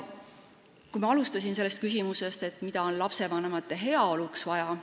Ma alustasin küsimusest, mida on lastevanemate heaoluks vaja.